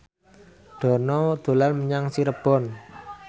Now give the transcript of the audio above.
Dono dolan menyang Cirebon